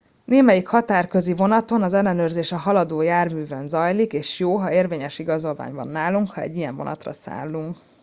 némelyik határközi vonaton az ellenőrzés a haladó járművön zajlik és jó ha érvényes igazolvány van nálunk ha egy ilyen vonatra szállunk